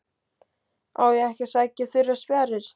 Á ég ekki að sækja þurrar spjarir?